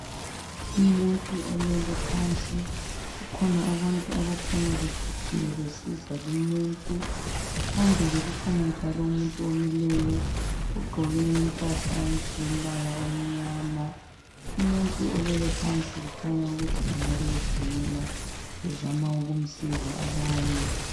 Umuntu olele phansi kukhona abantu abakhanya beguqile besiza lumuntu. Phambili kukhona njalo umuntu omileyo ogqoke impahla ezilombala omnyama, umuntu olele phansi kukhanya ukuthi engabe gula bezama ukumsiza abanye.